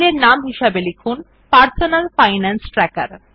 file এর নামটি লিখুন পারসোনাল ফাইনান্স ট্র্যাকের